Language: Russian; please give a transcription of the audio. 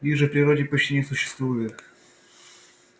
их же в природе почти не существует